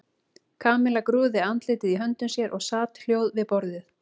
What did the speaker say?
Kamilla grúfði andlitið í höndum sér og sat hljóð við borðið.